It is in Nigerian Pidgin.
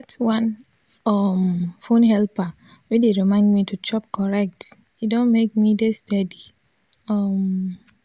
i get one um phone helper wey dey remind me to chop correct e don make me dey steady um